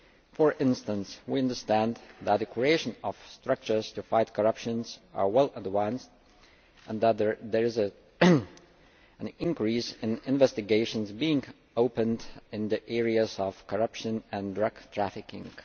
For instance, we understand that the creation of structures to fight corruption is well advanced and that there is an increase in investigations being opened in the areas of corruption and drug trafficking.